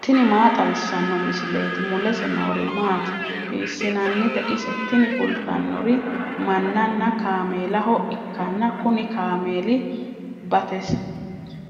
tini maa xawissanno misileeti ? mulese noori maati ? hiissinannite ise ? tini kultannori mannanna kaameelaho ikkanna kuni kaameeli